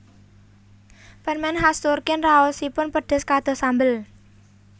Permen khas Turkin raosipun pedes kados sambel